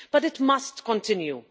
But it must continue.